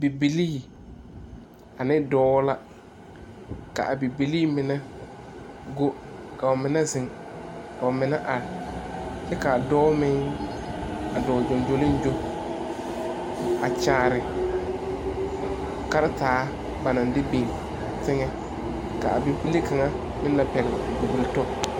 Bibilii a ne dɔɔ la ka bibilii mine go ka ba mine zeŋ ka ba mine are kyɛ ka dɔɔ meŋ a dɔɔ gyoŋgyoligyo a kyaare karataa ba naŋ de biŋ teŋɛ ka a bibile kaŋa meŋ la pɛgle o bibili tɔ.